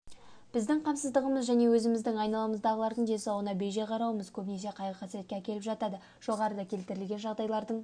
біздің қамсыздығымыз және өзіміздің айналамыздағылардың денсаулығына бей-жай қарауымыз көбінесе қайғы-қасіретке әкеліп жатады жоғарыда келтірілген жағдайлардың